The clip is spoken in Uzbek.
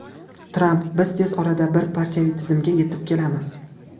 Tramp: Biz tez orada bir partiyaviy tizimga yetib kelamiz.